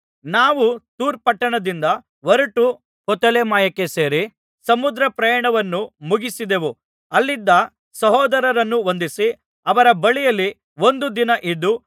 ನಾವು ತೂರ್ ಪಟ್ಟಣದಿಂದ ಹೊರಟು ಪ್ತೊಲೆಮಾಯಕ್ಕೆ ಸೇರಿ ಸಮುದ್ರಪ್ರಯಾಣವನ್ನು ಮುಗಿಸಿದೆವು ಅಲ್ಲಿದ್ದ ಸಹೋದರರನ್ನು ವಂದಿಸಿ ಅವರ ಬಳಿಯಲ್ಲಿ ಒಂದು ದಿನ ಇದ್ದು